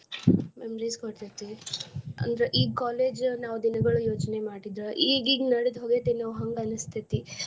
Memories ಕೊಡತೇತಿ ಅಂದ್ರ ಈ college ನಾವ್ ದಿನಗೊಳ್ ಯೋಚನೆ ಮಾಡಿದ್ರ ಈಗೀಗ ನಡೆದ್ ಹೋಯ್ತೆನೋ ಹಂಗ್ ಅನಸ್ತೇತಿ.